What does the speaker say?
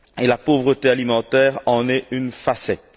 La pauvreté alimentaire en est une facette.